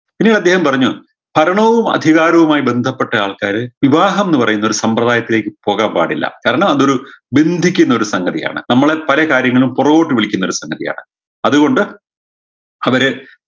ഇനി അദ്ദേഹം പറഞ്ഞു ഭരണവും അധികാരവുമായി ബന്ധപ്പെട്ട ആൾക്കാര് വിവാഹംന്ന് പറയുന്നൊരു സമ്പ്രദായത്തിലേക്ക് പോകാൻ പാടില്ല കാരണം അതൊരു ബന്ധിക്കുന്നൊരു സംഗതിയാണ് നമ്മളെ പല കാര്യങ്ങളിലും പുറകോട്ട് വലിക്കുന്നൊരു സംഗതിയാണ് അത് കൊണ്ട് അവരെ